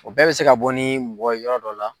O bɛɛ bɛ se ka bɔ ni mɔgɔ ye yɔrɔ dɔ la.